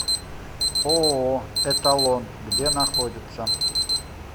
ооо эталон где находится